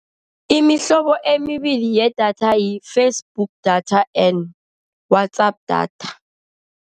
Imihlobo emibili yedatha yi-Facebook data and WhatsApp data.